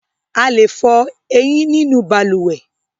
A lè fọ ẹyín nínú balùwẹ́